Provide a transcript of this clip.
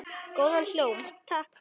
Góðan hljóm, takk!